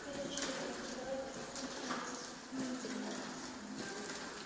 короче ребятки давайте попрощаемся с моими волосами